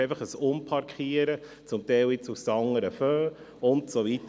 Es ist einfach ein Umparken zum Teil aus den anderen Fonds und so weiter.